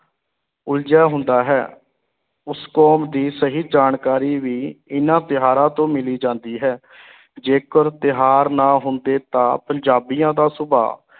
ਉਲਝਿਆ ਹੁੰਦਾ ਹੈ, ਉਸ ਕੌਮ ਦੀ ਸਹੀ ਜਾਣਕਾਰੀ ਵੀ ਇਨ੍ਹਾਂ ਤਿਉਹਾਰਾਂ ਤੋਂ ਮਿਲ ਜਾਂਦੀ ਹੈ ਜੇਕਰ ਤਿਉਹਾਰ ਨਾ ਹੁੰਦੇ ਤਾਂ ਪੰਜਾਬੀਆਂ ਦਾ ਸੁਭਾਅ